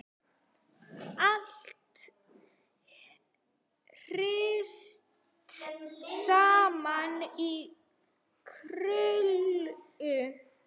Allt hrist saman í krukku.